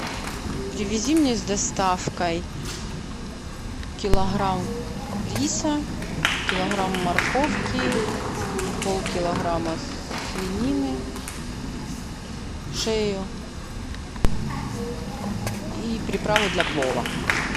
привези мне с доставкой килограмм риса килограмм морковки полкилограмма свинины шею и приправу для плова